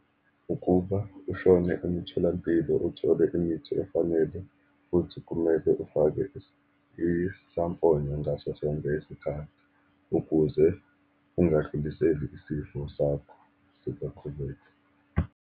Ukuba ushone emitholampilo, uthole imithi efanele, futhi kumele ufake isamfonyo ngaso sonke isikhathi ukuze ungadluliseli isifo sakho sisaqhubeka.